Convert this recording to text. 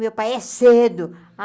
Meu pai é cedo.